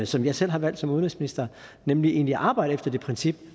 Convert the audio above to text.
som jeg selv har valgt som udenrigsminister nemlig egentlig arbejde efter det princip